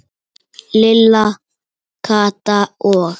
Lilla, Kata og